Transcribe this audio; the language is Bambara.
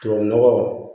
Tubabu nɔgɔ